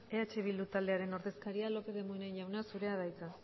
eh bildu taldearen ordezkaria lópez de munain jauna zurea da hitza